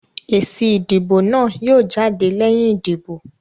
Èsì ìdìbò náà yóò jáde lẹ́yìn ìdìbò